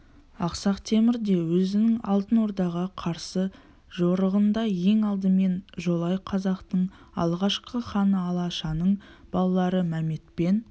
ақсақ темір де өзінің алтын ордаға қарсы жорығында ең алдымен жолай қазақтың алғашқы ханы алашаның балалары мәмет пен